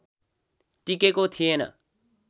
टिकेको थिएन